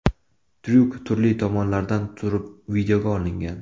Tryuk turli tomonlardan turib videoga olingan.